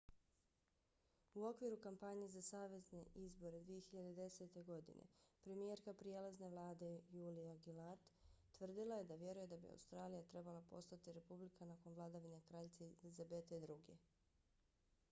u okviru kampanje za savezne izbore 2010. godine premijerka prijelazne vlade julia gillard tvrdila je da vjeruje da bi australija trebala postati republika nakon vladavine kraljice elizabete ii